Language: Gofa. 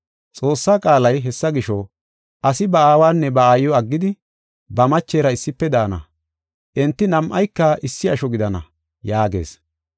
Xoossaa qaalay, “Hessa gisho, asi ba aawanne ba aayiw aggidi, ba machera issife daana; enti nam7ayka issi asho gidana” yaagees.